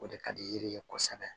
O de ka di yiri ye kosɛbɛ